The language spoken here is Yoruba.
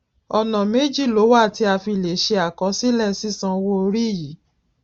ọnà méjì ló wà tí a fi lè ṣe akosílè sisan owo ori yi